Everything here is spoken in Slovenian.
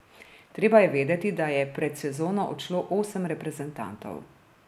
Treba je vedeti, da je pred sezono odšlo osem reprezentantov.